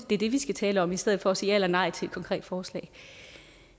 det er det vi skal tale om i stedet for at sige ja eller nej til et konkret forslag